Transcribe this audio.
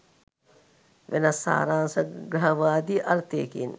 වෙනස් සාරසංග්‍රහවාදී අර්ථයකින්.